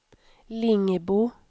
Lingbo